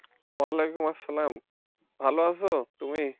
ওয়ালাইকুম আসসালাম ভালো আছো তুমি?